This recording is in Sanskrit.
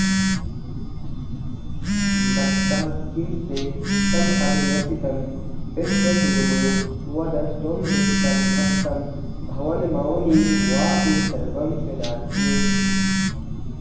मत्तः किं ते समभिलषितं विप्रसूनो वद त्वं वित्तं भक्तं भवनमवनीं वापि सर्वं प्रदास्ये